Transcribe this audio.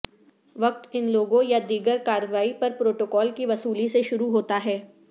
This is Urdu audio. وقت ان لوگوں یا دیگر کارروائیوں پر پروٹوکول کی وصولی سے شروع ہوتا ہے